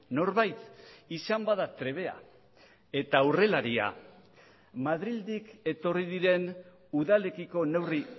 norbait izan bada trebea eta aurrelaria madrildik etorri diren udalekiko neurri